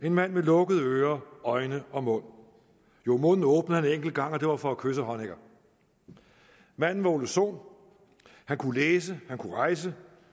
en mand med lukkede ører øjne og mund jo munden åbnede han en enkelt gang og det var for at kysse honecker manden var ole sohn han kunne læse han kunne rejse